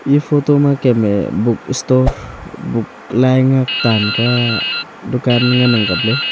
eya photo ma kem me bookstore book lai ngak taan kua dukan ngan ang kaple.